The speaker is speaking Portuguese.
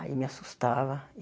Aí me assustava.